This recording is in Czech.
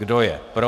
Kdo je pro?